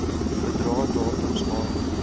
bedrae datums aard